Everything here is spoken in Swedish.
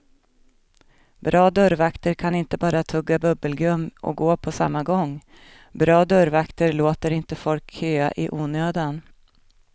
Bra dörrvakter kan inte bara tugga bubbelgum och gå på samma gång, bra dörrvakter låter inte folk köa i onödan.